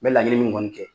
N bɛ laɲini min kɔni kɛ